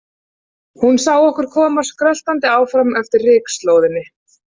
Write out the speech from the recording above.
Hún sá okkur koma skröltandi áfram eftir rykslóðinni.